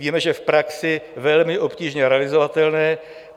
Víme, že v praxi velmi obtížně realizovatelné.